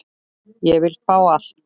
Ég vil fá allt.